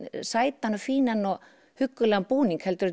sætan og fínan og huggulegan búning heldur